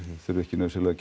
þurfi ekki nauðsynlega að